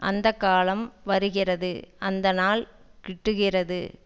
அந்த காலம் வருகிறது அந்த நாள் கிட்டுகிறது